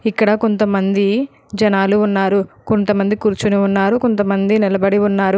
ఇక్కడ కొంతమంది జనాలు ఉన్నారు కొంతమంది కూర్చొని ఉన్నారు కొంత మంది నిలబడి ఉన్నారు.